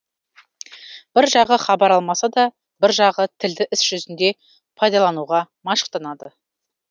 бір жағы хабар алмасады бір жағы тілді іс жүзінде пайдалануға машықтанады